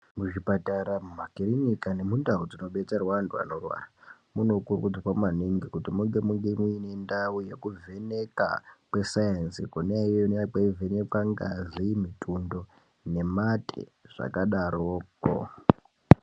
Muzvipatara, mumakirinika, nemundau dzinobetserwa antu anorwara munokurudzirwa maningi kuti munge muine ndau yekuvheneka kwesainzi, kwona iyoyo kunenge kweivhenekwa ngazi, mitundo nemate zvakadaroko.